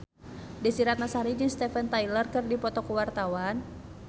Desy Ratnasari jeung Steven Tyler keur dipoto ku wartawan